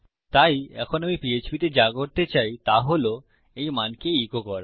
তাই এখন আমি পিএচপি তে যা করতে চাই তা হল এই মানকে ইকো করা